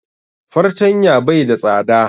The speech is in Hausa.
Fartanya bai da tsada